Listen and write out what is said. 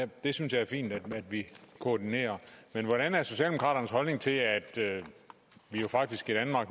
det synes jeg er fint at vi koordinerer men hvordan er socialdemokraternes holdning til at vi jo faktisk